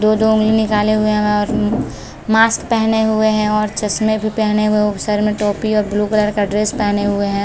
दो-दो उंगली निकाले हुए है और मास्क पहने हुए है और चश्मे भी पहने हुए है और सर में टोपी और ब्लू कलर का ड्रेस पहने हुए हैं ।